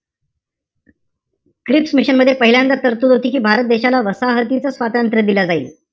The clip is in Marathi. क्रिप्स मिशन मध्ये पहिल्यांदाच तरतूद होती कि भारत देशाला वसाहतीचं स्वातंत्र्य दिलं जाईल.